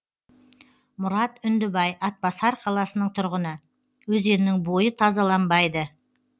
мұрат үндібай атбасар қаласының тұрғыны өзеннің бойы тазаланбайды